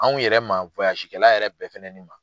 Anw yɛrɛ ma kɛ la yɛrɛ bɛɛ fɛnɛ ma.